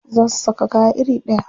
Za su saka kaya iri ɗaya.